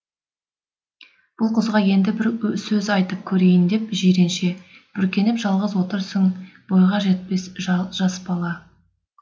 бұл қызға енді бір сөз айтып көрейін деп жиренше бүркеніп жалғыз отырсың бойға жеткен жас бала